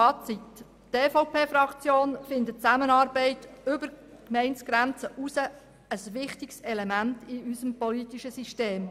Fazit: Die EVP hält die Zusammenarbeit über die Gemeindegrenze hinaus für ein wichtiges Element in unserem politischen System.